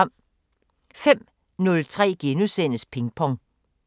05:03: Pingpong *